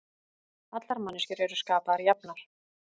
Allar manneskjur eru skapaðar jafnar